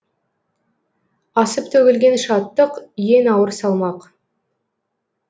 асып төгілген шаттық ең ауыр салмақ